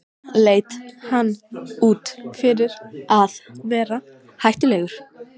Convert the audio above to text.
Leit hann út fyrir að vera hættulegur?